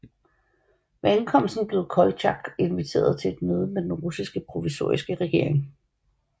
Ved ankomsten blev Koltjak inviteret til et møde med Den russiske provisoriske regering